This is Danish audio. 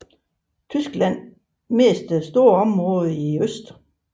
Tyskland mistede store områder i øst